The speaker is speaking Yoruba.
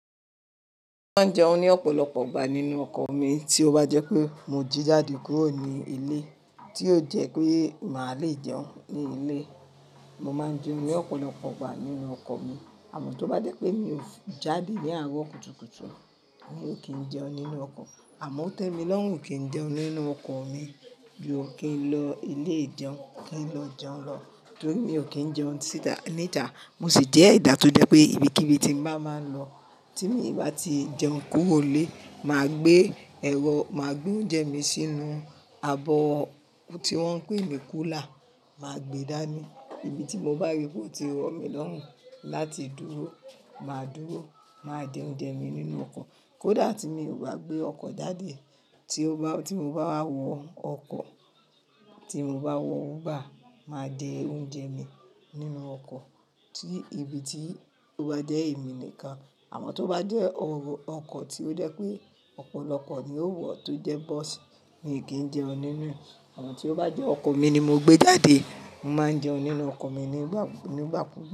Mo máa ń jẹun ní ọ̀pọ̀lọpọ̀ ìgbà nínú ọkọ̀ mi, tí ó bá jẹ́ pé mo jí jáde kúrò ní ilé tí ó jẹ́ pé màá le jẹun ní ilé, mo máa ń jẹun ní ọ̀pọ̀lọpọ̀ ìgbà nínú ọkọ̀ mi. Àmọ́ tó bá jẹ́ pé mi ò jáde ni àárọ̀ kùtùkùtù, mi ò kí ń jẹun nínú ọkọ̀. Àmọ́ otẹ́milorun kí ń jẹun nínú ọkọ̀ mi, ju ki n lọ ilé ìjẹun, ki n lo jeun lo, torí mi ò kí ń jẹun nítaà, mo sì jẹ́ edà tó jẹ́ pé ibikíbi tí n bá máa ń lọ tí mi bá ti jẹun kúrò nílé, màá gbé ẹ̀rọ, màá gbé oúnjẹ mi sínú abọ́ tí wọ́n ń pè ní cooler, màá gbe dání. Ìbi tí mo bá rí pé ó ti rọ̀ mí lọ́rùn láti dúró, màá dúró, màá jẹ oúnjẹ mi nínú ọkọ̀. Kódà tí mi ò bá gbé ọkọ̀ jáde, tí mo bá wọ ọkọ̀, tí mo bá wọ Uber, màá jẹ oúnjẹ mi nínú ọkọ̀ tí ibi tí ó bá jẹ́ èmi nìkan. Àmọ́ tó bá jẹ́ ọkọ̀ tí ó jẹ́ pé ọ̀pọ̀lọpọ̀ ni ó wọ̀ tó jẹ́ bọ́ọ̀sì, mi kí ń jẹun nínúrẹ̀. Àmọ́ tí ó bá jẹ́ ọkọ̀ mi ni mo gbé jáde, mo máa ń jẹun nínú ọkọ̀ mi nígbà kú, nígbà kú.